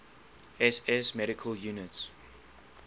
ss medical units